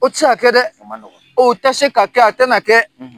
O ti se ka kɛ dɛ! A ma nɔgɔn. O tɛ se ka kɛ, a tɛna na kɛ .